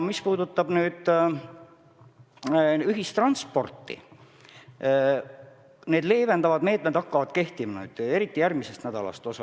Mis puudutab ühistransporti, siis paljud leevendavad meetmed rakenduvad järgmisest nädalast.